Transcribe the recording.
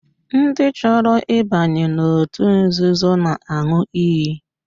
Ndị chọrọ ịbanye n'otu nzuzo na-aṅụ iyi